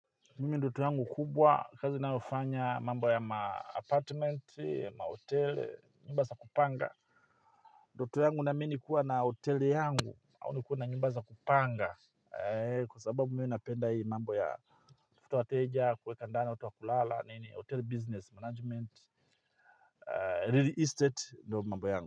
Mimi ndoto yangu kubwa kazi ninayofanya mambo ya maapartment, mahoteli, nyumba za kupanga ndoto yangu naamini kuwa na hotel yangu, au nikuwe na nyumba za kupanga. Kwa sababu mimi napenda hii mambo ya kutafuta wateja, kuweka ndani, watu wa kulala, nini, hotel business management, real estate, ndio mambo yangu.